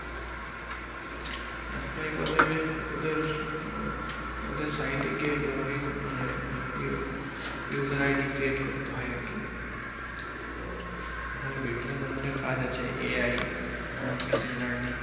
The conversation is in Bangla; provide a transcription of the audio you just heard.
এপ্লাই করে ওদের আহ ওদের site এ গিয়ে log in মানে ইয়ে user ID create করত হয় আরকি তো ওখানে বিভিন্ন ধরণের কাজ আছে AI আহ machine learning